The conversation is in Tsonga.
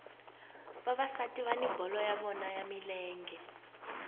vavasati vani bolo ya vona ya milenge